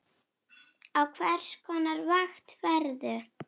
Á hvers konar vakt ferðu?